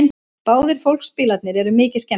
Báðir fólksbílarnir eru mikið skemmdir